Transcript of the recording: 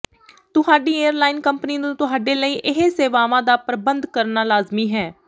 ਤੁਹਾਡੀ airline company ਨੂੰ ਤੁਹਾਡੇ ਲਈ ਇਹ ਸੇਵਾਵਾਂ ਦਾ ਪ੍ਰਬੰਧ ਕਰਨਾ ਲਾਜ਼ਮੀ ਹੈ